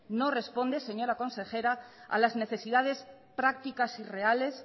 no responde señora consejera a las necesidades prácticas y reales